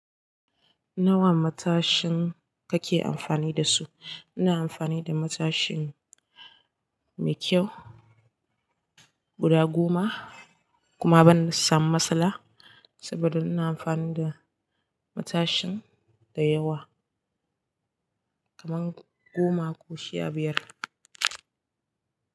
Nawa matashin kake amfani da su? Ina amfani da matashin mai kyau guda goma kuma ban samu matsala saboda ina amfani da matashin da yawa kaman goma ko sha biyar.